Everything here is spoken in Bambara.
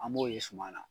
An b'o ye suma na